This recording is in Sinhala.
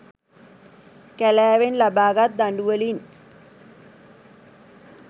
කැලෑවෙන් ලබාගත් දඩුවලින්